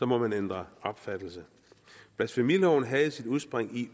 må man ændre opfattelse blasfemiloven havde sit udspring i